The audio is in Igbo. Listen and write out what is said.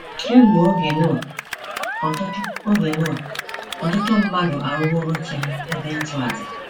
Kemgbe oge Noah, ọtụtụ oge Noah, ọtụtụ mmadụ arụworo chi ha ebe ịchụàjà.